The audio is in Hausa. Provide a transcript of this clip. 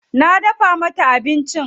Na dafa mata abincin.